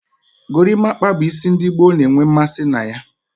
Gorimapa bu isi ndigboo na-enwe mmasi na.